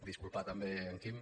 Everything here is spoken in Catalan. disculpar també en quim